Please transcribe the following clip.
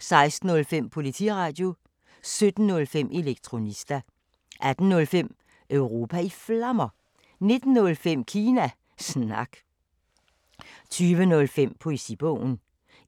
16:05: Politiradio 17:05: Elektronista 18:05: Europa i Flammer 19:05: Kina Snak 20:05: Poesibogen